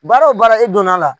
Baara o baara e donn'a la.